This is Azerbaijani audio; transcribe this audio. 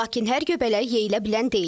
Lakin hər göbələk yeyilə bilən deyil.